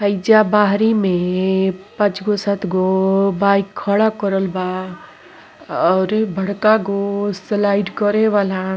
हइजा बाहरी में पच गो सत गो बाइक खड़ा करल बा और बड़का गो स्लाईड करे वाला --